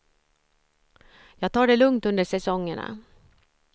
Jag tar det lugnt under säsongerna.